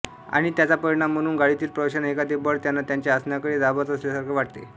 आणि त्याचा परिणाम म्हणून गाडीतील प्रवाशांना एखादे बळ त्यांना त्यांच्या आसनाकडे दाबत असल्यासारखे वाटते